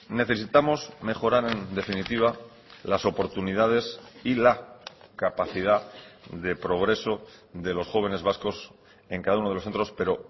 necesitamos mejorar en definitiva las oportunidades y la capacidad de progreso de los jóvenes vascos en cada uno de los centros pero